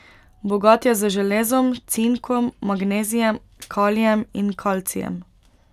Bogat je z železom, cinkom, magnezijem, kalijem in kalcijem.